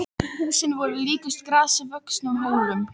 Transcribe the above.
Húsin voru líkust grasi vöxnum hólum.